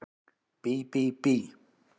Bí bí bí!